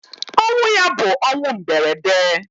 Ọnwụ ya bu ọnwụ mberede.